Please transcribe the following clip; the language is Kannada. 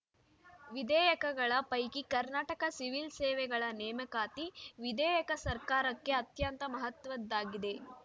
ವಿಧೇಯಕಗಳ ಪೈಕಿ ಕರ್ನಾಟಕ ಸಿವಿಲ್‌ ಸೇವೆಗಳ ನೇಮಕಾತಿ ವಿಧೇಯಕ ಸರ್ಕಾರಕ್ಕೆ ಅತ್ಯಂತ ಮಹತ್ವದ್ದಾಗಿದೆ